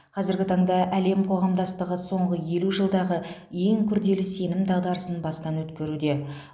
қазіргі таңда әлем қоғамдастығы соңғы елу жылдағы ең күрделі сенім дағдарысын бастан өткеруде